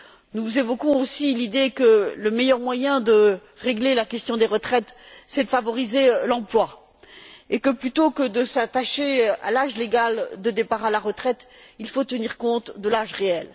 Nous évoquons aussi l'idée que le meilleur moyen de régler la question des retraites est de favoriser l'emploi et que plutôt que de s'attacher à l'âge légal de départ à la retraite, il faut tenir compte de l'âge réel.